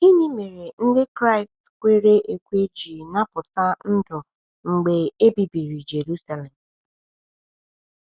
Gịnị mere Ndị Kraịst kwere ekwe ji napụta ndụ mgbe e bibiri Jerusalem?